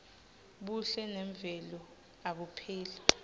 buhle memvelo abupheli